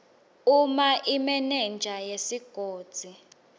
uma imenenja yesigodzi